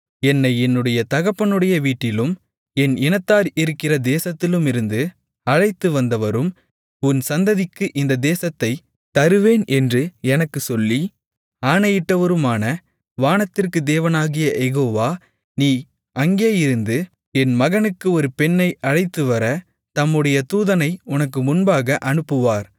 என்னை என்னுடைய தகப்பனுடைய வீட்டிலும் என் இனத்தார் இருக்கிற தேசத்திலுமிருந்து அழைத்துவந்தவரும் உன் சந்ததிக்கு இந்த தேசத்தைத் தருவேன் என்று எனக்குச் சொல்லி ஆணையிட்டவருமான வானத்திற்குத் தேவனாகிய யெகோவா நீ அங்கேயிருந்து என் மகனுக்கு ஒரு பெண்ணை அழைத்துவர தம்முடைய தூதனை உனக்கு முன்பாக அனுப்புவார்